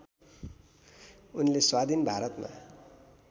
उनले स्वाधीन भारतमा